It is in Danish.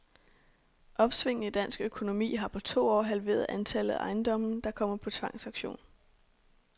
Opsvinget i dansk økonomi har på to år halveret antallet af ejendomme, der kommer på tvangsauktion.